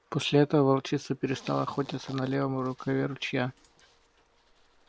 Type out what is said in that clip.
после этого волчица перестала охотиться на левом рукаве ручья